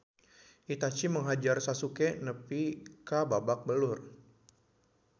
Itachi menghajar Sasuke nepi ka babak belur